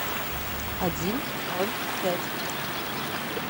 один ноль пять